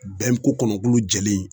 Bɛn ko kɔnɔ bulu jɛlen